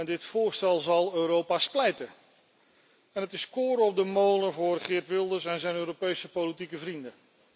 Dit voorstel zal Europa splijten en dat is koren op de molen voor Geert Wilders en zijn Europese politieke vrienden.